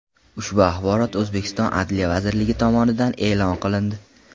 Ushbu axborot O‘zbekiston Adliya vazirligi tomonidan e’lon qilindi.